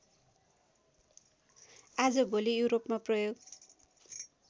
आजभोलि युरोपमा प्रयोग